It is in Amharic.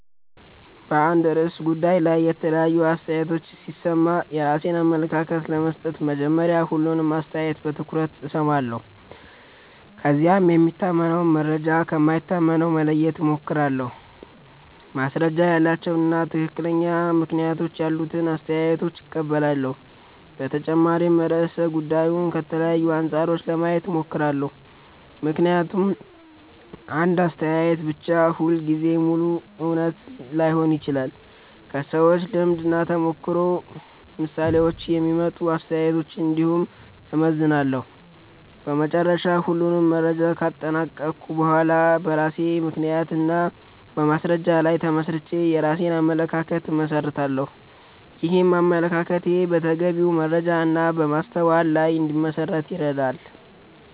በአንድ ርዕሰ ጉዳይ ላይ የተለያዩ አስተያየቶችን ሲሰማ የራሴን አመለካከት ለመመስረት መጀመሪያ ሁሉንም አስተያየት በትኩረት እሰማለሁ። ከዚያም የሚታመን መረጃ ከማይታመን መለየት እሞክራለሁ፣ ማስረጃ ያላቸውን እና ትክክለኛ ምክንያቶች ያሉትን አስተያየቶች እቀበላለሁ። በተጨማሪም ርዕሰ ጉዳዩን ከተለያዩ አንጻሮች ለማየት እሞክራለሁ፣ ምክንያቱም አንድ አስተያየት ብቻ ሁልጊዜ ሙሉ እውነት ላይሆን ይችላል። ከሰዎች ልምድ እና ከተግባራዊ ምሳሌዎች የሚመጡ አስተያየቶችን እንዲሁም እመዘንላለሁ። በመጨረሻ ሁሉንም መረጃ ካጠናቀቅሁ በኋላ በራሴ ምክንያት እና በማስረጃ ላይ ተመስርቼ የራሴን አመለካከት እመሰርታለሁ። ይህም አመለካከቴ በተገቢ መረጃ እና በማስተዋል ላይ እንዲመሠረት ይረዳል።